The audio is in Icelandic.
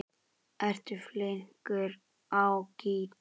Ertu flinkur á gítar?